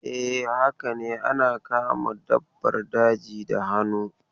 E, haka ne ana kama dabbar daji da hannu.